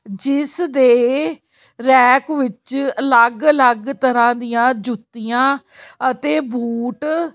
ਜਿਸ ਦੇ ਰੈਕ ਵਿੱਚ ਅਲੱਗ ਅਲੱਗ ਤਰ੍ਹਾਂ ਦੀਆਂ ਜੁੱਤੀਆਂ ਅਤੇ ਬੂਟ--